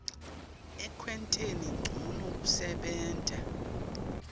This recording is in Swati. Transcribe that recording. ekwenteni ncono kusebenta